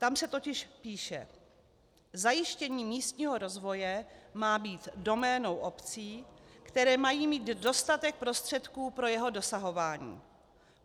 Tam se totiž píše: Zajištění místního rozvoje má být doménou obcí, které mají mít dostatek prostředků pro jeho dosahování.